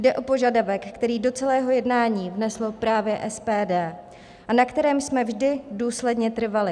Jde o požadavek, který do celého jednání vneslo právě SPD a na kterém jsme vždy důsledně trvali.